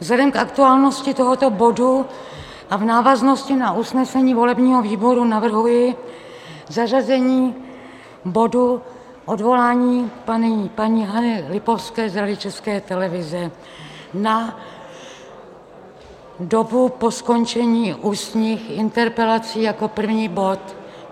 Vzhledem k aktuálnosti tohoto bodu a v návaznosti na usnesení volebního výboru navrhuji zařazení bodu odvolání paní Hany Lipovské z Rady České televize na dobu po skončení ústních interpelací jako první bod.